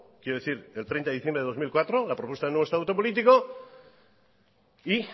quiero decir el treinta de diciembre de dos mil cuatro la propuesta de nuevo estatus político y